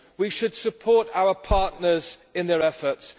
We should support our partners in their efforts.